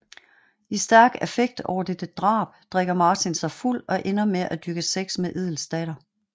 I stærk affekt over dette drab drikker Martin sig fuld og ender med at dyrke sex med Edels datter